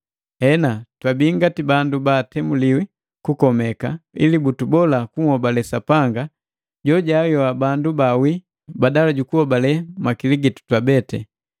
Hena, twabii ngati bandu baatemuliwi kukomeka, ili butubola kunhobale Sapanga jojaayoa bandu bawii, badala jukuhobale makili gitu twabeti.